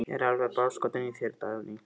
Ég er alveg bálskotinn í þér, Dagný!